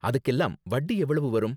அதுக்கெல்லாம் வட்டி எவ்வளவு வரும்?